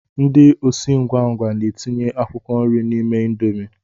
Ndị osi ngwa ngwa na-etinye akwụkwọ nri n'ime indomi